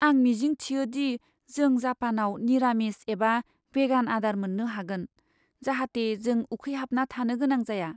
आं मिजिं थियो दि जों जापानाव निरामिस एबा भेगान आदार मोननो हागोन, जाहाथे जों उखैहाबना थानो गोनां जाया।